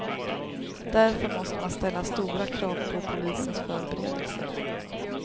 Därför måste man ställa stora krav på polisens förberedelser.